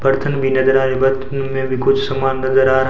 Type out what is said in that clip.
परथन भी नजर आ कुछ समान नजर आ रहा--